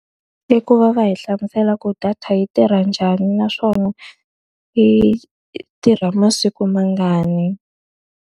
I ku va va hi hlamusela ku data yi tirha njhani naswona hi tirha masiku mangani.